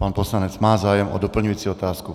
Pan poslanec má zájem o doplňující otázku.